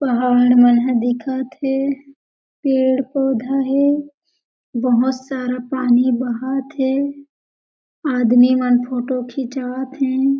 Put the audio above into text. पहाड़ मन दिखत हे पेड़-पौधा हे बहोत सारा पानी बहत हे आदमी मन फोटो खिचात हे।